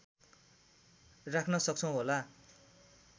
राख्न सक्छौँ होला